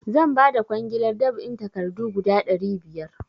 Zan ba da kwangilar ɗab'in takardu guda ɗari biyar.